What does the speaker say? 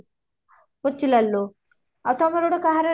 ବଛୁ ଲାଲ ରୁ ଆଉ ତମର ଗୋଟେ କାହାର